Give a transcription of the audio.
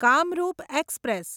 Kamrup express